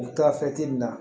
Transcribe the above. U taa na